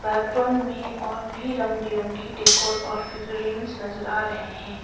में और भी रंग बिरंगी डेकोर और नजर आ रहें हैं।